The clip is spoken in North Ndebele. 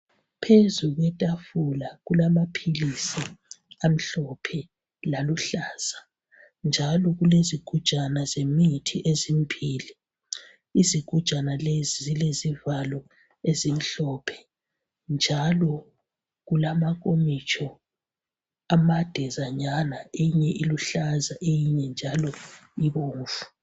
Phezulu kwetafula kulamaphilisi amhlophe laluhlaza njalo kulezigujana zemithi ezimbili. Izigujana lezi zilezivalo ezimhlophe njalo kulamankomitsho amadezanyana eyinye iluhlaza eyinye njalo ibomvu.